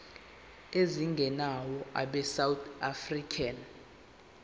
ezingenayo abesouth african